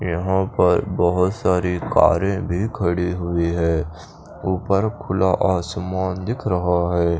यहाँ पर बोहोत सारी कारे भी खड़ी हुई है ऊपर खुला आसमान दिख रहा है।